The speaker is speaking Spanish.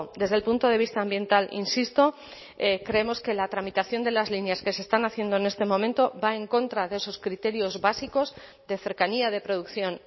desde el punto de vista ambiental insisto creemos que la tramitación de las líneas que se están haciendo en este momento va en contra de esos criterios básicos de cercanía de producción